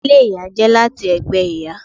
Ìdílé ìyá jẹ láti ẹgbẹ ìyá.